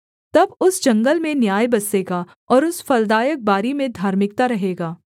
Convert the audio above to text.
तब उस जंगल में न्याय बसेगा और उस फलदायक बारी में धार्मिकता रहेगा